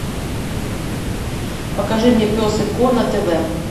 покажи мне пес и ко на тв